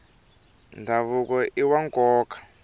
ndhavuko iwa nkoka